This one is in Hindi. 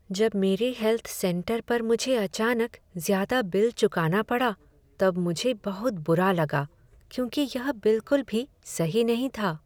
जब मेरे हेल्थ सेंटर पर मुझे अचानक ज्यादा बिल चुकाना पड़ा तब मुझे बहुत बुरा लगा क्योंकि यह बिलकुल भी सही नहीं था।